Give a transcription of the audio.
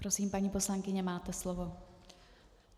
Prosím, paní poslankyně, máte slovo.